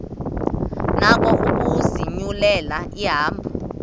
nako ukuzinyulela ihambo